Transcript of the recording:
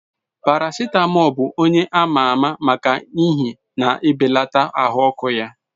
Paracetamol bụ onye ama ama maka ihe na-ebelata ahụ ọkụ ya.